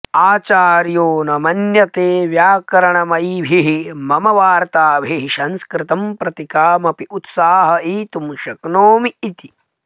आचार्यो न मन्यते व्याकरणमयीभिः मम वार्ताभिः संस्कृतं प्रति कामपि उत्साहयितुं शक्नोमि इति